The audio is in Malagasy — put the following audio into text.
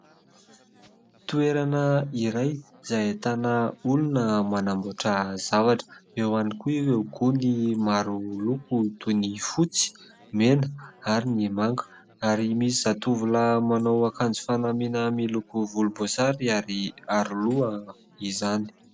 Toerana iray izay ahitana olona manamboatra zavatra, eo ihany koa ireo gony maroloko toy : ny fotsy, mena ary ny manga ary misy zatovolahy manao akanjo fanamiana miloko volomboasary ary aroloha izany.